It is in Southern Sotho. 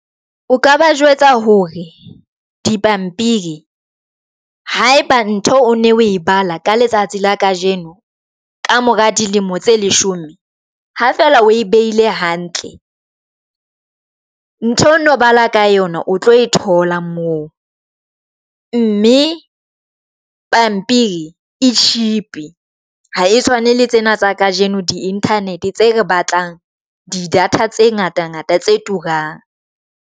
O ka ba jwetsa hore dipampiri haeba ntho o ne o e bala ka letsatsi la kajeno, ka mora dilemo tse leshome, ha fela o e behile hantle ntho ono bala ka yona o tlo e thola moo mme pampiri e cheap ha e tshwane. Le tsena tsa kajeno di Internet tse re batlang di data tse ngata-ngata tse turang.